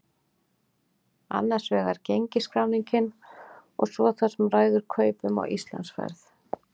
Annars vegar gengisskráningin og svo það sem ræður kaupum á Íslandsferð.